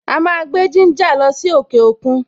A máa gbé gínjà lọ sí òkè òkun.